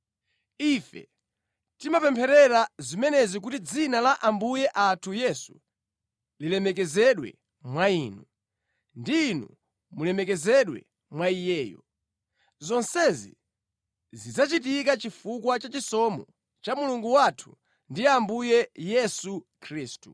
Ife timapempherera zimenezi kuti dzina la Ambuye athu Yesu lilemekezedwe mwa inu, ndi inu mulemekezedwe mwa Iyeyo. Zonsezi zidzachitika chifukwa cha chisomo cha Mulungu wathu ndi Ambuye Yesu Khristu.